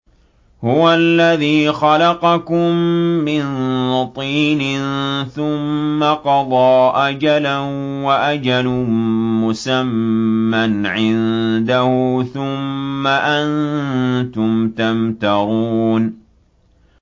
هُوَ الَّذِي خَلَقَكُم مِّن طِينٍ ثُمَّ قَضَىٰ أَجَلًا ۖ وَأَجَلٌ مُّسَمًّى عِندَهُ ۖ ثُمَّ أَنتُمْ تَمْتَرُونَ